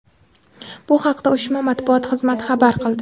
Bu haqda uyushma matbuot xizmati xabar qildi .